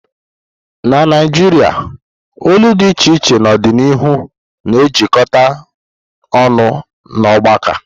Na Naijiria olu dị iche iche n'ọdịnihu na-ejikọta ọnụ n'ọgbakọ.